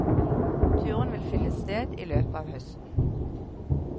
Turen vil finne sted i løpet av høsten.